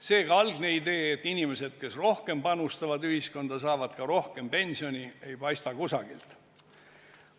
Seega, algset ideed, et inimesed, kes rohkem panustavad ühiskonda, saavad ka rohkem pensioni, ei paista kusagilt.